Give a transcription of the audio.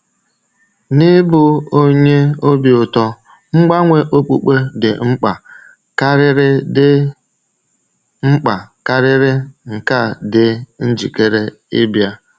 N’ịbụ onye obi ụtọ, mgbanwe okpukpe dị mkpa karịrị dị mkpa karịrị nke a dị njikere ịbịa.